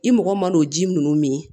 I mɔgɔ man'o ji ninnu min